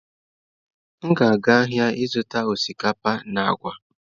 M ga-aga ahịa ịzụta osikapa na agwa.